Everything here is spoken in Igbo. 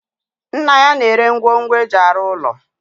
Nna ya na-ere ngwongu eji arụ ụlọ